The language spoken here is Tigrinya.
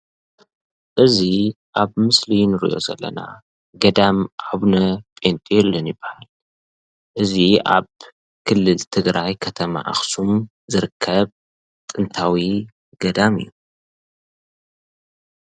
እዚ አብ ምስሊ እንሪኦ ዘለና ገዳም አውነ ጰንጦሎን ይብሃል እዚ አብ ክልል ትግራይ ከተማ አክሱም ዝርከብ ጥንታዊ ገዳም እዩ፡፡